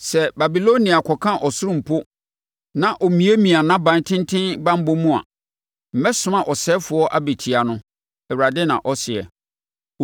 Sɛ Babilonia kɔka ɔsoro mpo, na ɔmiamia nʼaban tenten banbɔ mu a, mɛsoma ɔsɛefoɔ abɛtia no,” Awurade na ɔseɛ.